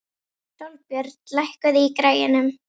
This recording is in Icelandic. Sólbjörn, lækkaðu í græjunum.